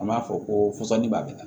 An b'a fɔ ko fɔsɔnnin b'a la